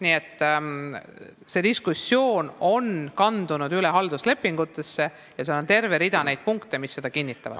Nii et see diskussioon on kandunud halduslepingutesse, kus on terve rida punkte, mis seda kinnitavad.